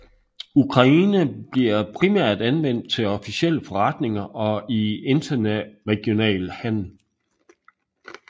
Ukrainsk bliver primært anvendt til officielle forretninger og i interregional handel